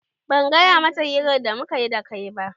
Ban gaya mata hirar da mukayi da kai ba.